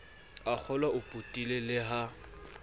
a kgolwao potile le ha